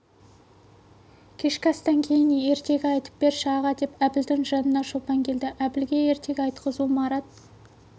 кешкі астан кейін ертегі айтып берші аға деп әбілдің жанына шолпан келді әбілге ертегі айтқызу марат